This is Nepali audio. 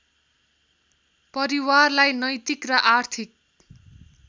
परिवारलाई नैतिक र आर्थिक